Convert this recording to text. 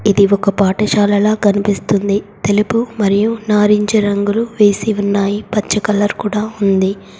ఇది ఒక పాఠశాలలా కనిపిస్తుంది. తెలుపు మరియు నారింజ రంగులు వేసి ఉన్నాయి. పచ్చ కలర్ కూడా ఉంది.